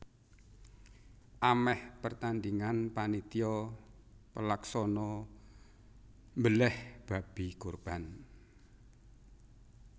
Amèh pertandhingan panitia pelaksana mbelèh babi kurban